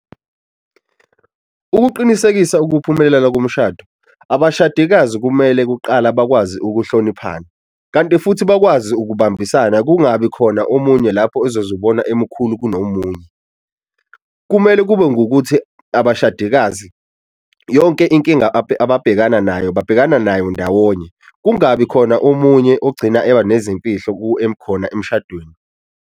Ukuqinisekisa ukuphumelela komshado, abashadikazi kumele kuqala bakwazi ukuhloniphana kanti futhi bakwazi ukubambisana kungabi khona omunye lapho ezozibona emikhulu kunomunye. Kumele kube ngokuthi abashadikazi yonke inkinga abhekana nayo babhekana nayo ndawonye kungabi khona omunye ogcina eba nezimfihlo khona emshadweni.